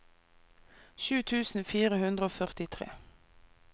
sju tusen fire hundre og førtitre